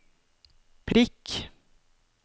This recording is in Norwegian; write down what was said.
prikk